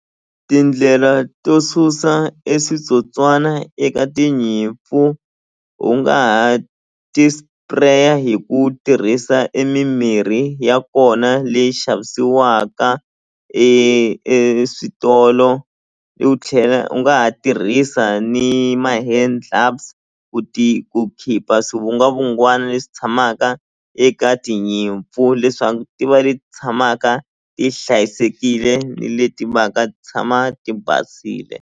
Tindlela to susa e switsotswana eka tinyimpfu u nga ha ti-spray-a hi ku tirhisa e mimirhi ya kona leyi xavisiwaka eswitolo u tlhela u nga ha tirhisa ni ma-hand gloves ku ti ku khipha swivungwavungwana leswi tshamaka eka tinyimpfu leswaku ti va leti tshamaka ti hlayisekile ni leti va ka ti tshama ti basile.